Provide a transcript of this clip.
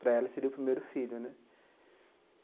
Para ela seria o primeiro filho, né?